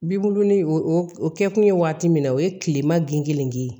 Bibulon ni o o kɛ kun ye waati min na o ye tilema gingelen ye